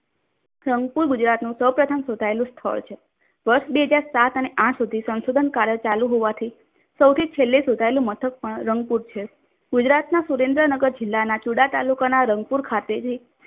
સંકુલ ગુજરાતનું સૌપ્રથમ શોધાયેલું સ્થળ છે. વસ બે હજાર સાત અને આઠ સુધી સંશોધન કાર્ય ચાલુ હોવાથી સૌથી છેલ્લે શોધાયેલું મથક પણ રંગ પૂર છે. ગુજરાતના સુરેન્દ્રનગર જિલ્લના ચુડા તાલુકાના રંગપુર ખાતે